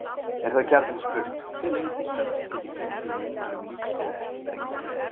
Er þá gjarnan spurt hve lengi sögn geti gengið í munnmælum lítt eða ekki brengluð.